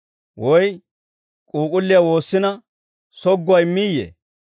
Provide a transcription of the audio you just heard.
Woy k'uuk'ulliyaa woossina sogguwaa immiyee?